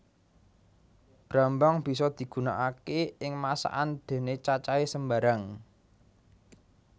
Brambang bisa digunakaké ing masakan déné cacahé sembarang